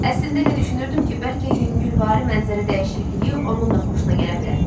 Əslində elə düşünürdüm ki, bəlkə yüngülvari mənzərə dəyişikliyi onun da xoşuna gələ bilər.